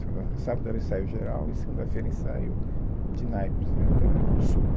Sábado era o ensaio geral e segunda-feira o ensaio de naipes, né, da, do sopro.